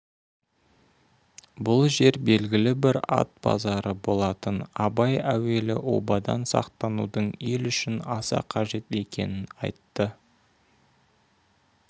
бұл жер белгілі ат базары болатын абай әуелі обадан сақтанудың ел үшін аса қажет екенін айтты